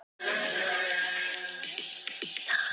Bótólfur, mun rigna í dag?